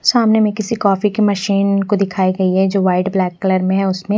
सामने में किसी कॉफ़ी की मशीन को दिखाई गई है जो वाइट ब्लैक कलर में है उसमें--